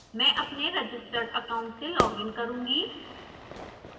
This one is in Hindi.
मैं अपने रजिस्टर्ड account से लॉग इन करुँगी